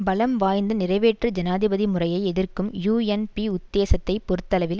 பலம் வாய்ந்த நிறைவேற்று ஜனாதிபதி முறையை எதிர்க்கும் யூஎன்பி உத்தேசத்தைப் பொறுத்தளவில்